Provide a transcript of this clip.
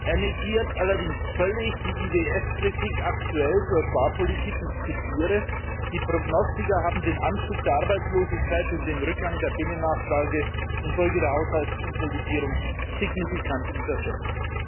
Er negiert allerdings völlig die IWF Kritik aktuell zur Sparpolitik, ich zitiere die Prognostiker haben den Anstieg der Arbeitslosigkeit und den Rückgang der Binnennachfrage infolge der Haushaltskonsolidierung signifikant unterschätzt.